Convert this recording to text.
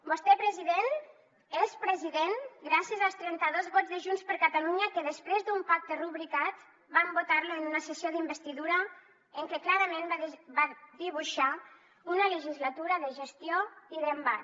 vostè president és president gràcies als trenta dos vots de junts per catalunya que després d’un pacte rubricat van votar lo en una sessió d’investidura en què clarament va dibuixar una legislatura de gestió i d’embat